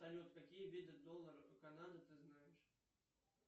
салют какие виды долларов канады ты знаешь